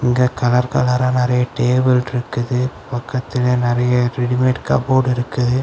இங்க கலர் கலரா நெறையா டேபிள் ருக்குது பக்கத்துல நெறைய ரெடிமேட் கப்போர்ட் இருக்குது.